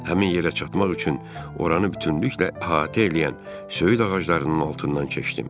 Həmin yerə çatmaq üçün oranı bütünlüklə əhatə eləyən söyüd ağaclarının altından keçdim.